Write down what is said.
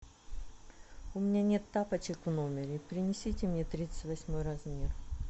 у меня нет тапочек в номере принесите мне тридцать восьмой размер